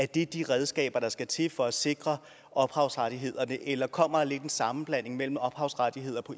det de redskaber der skal til for at sikre ophavsrettighederne eller kommer der lidt en sammenblanding mellem ophavsrettigheder